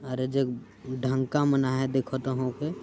अरे जे ढंका बनाया है देखो तो हउके --